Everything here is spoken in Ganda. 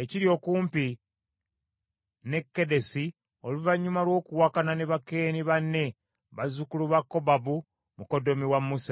ekiri okumpi ne Kedesi oluvannyuma lw’okwawukana ne Bakeeni banne, bazzukulu ba Kobabu mukoddomi wa Musa.